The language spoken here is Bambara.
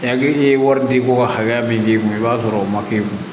Hakili ye wari di ko hakɛya min d'i ma i b'a sɔrɔ o